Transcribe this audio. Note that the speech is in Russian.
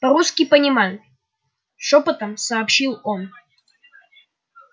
по русски понимают шёпотом сообщил он